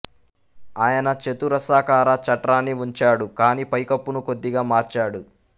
ఆయన చతురస్రాకార చట్రాన్ని ఉంచాడు కానీ పైకప్పును కొద్దిగా మార్చాడు